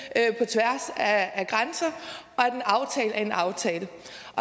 at af grænser og respektere at en aftale